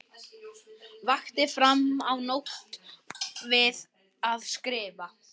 Vakti fram á nótt við að skrifa.